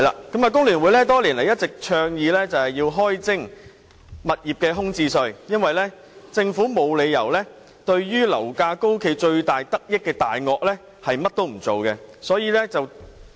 工聯會多年來一直倡議開徵物業空置稅，因為政府沒有理由對樓價高企最大得益的"大鱷"甚麼也不做。